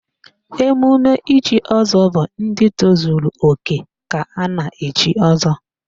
Emume ichi ọzọ bụ ndị tozuru òkè ka a na-echi ọzọ